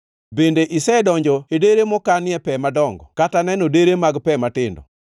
“Bende isedonjo e dere mokanie pe madongo kata neno dere mag pe matindo,